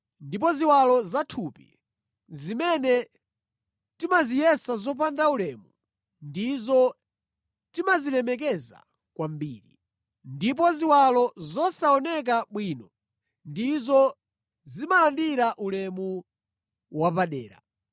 ndipo ziwalo zathupi zimene timaziyesa zopanda ulemu, ndizo timazilemekeza kwambiri. Ndipo ziwalo zosaoneka bwino ndizo zimalandira ulemu wapadera.